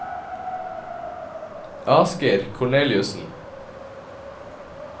Asgeir Korneliussen